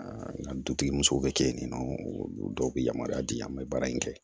n ka dutigi musow bɛ kɛ yen nɔ olu dɔw bɛ yamaruya di an ma baara in kɛ